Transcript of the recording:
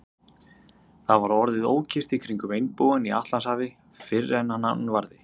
Það var orðið ókyrrt í kringum einbúann í Atlantshafi, fyrr en hann varði.